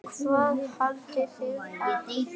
Hvað haldið þið ég finni?